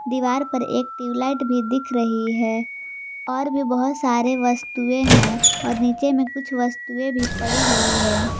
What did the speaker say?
दीवार पर एक ट्यूबलाइट भी दिख रही है और भी बहोत सारे वस्तुएं हैं और नीचे में कुछ वस्तुएं भी पड़ी हुई है।